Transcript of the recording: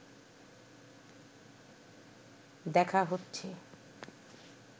দেখা হচ্ছে